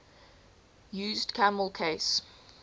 used camel case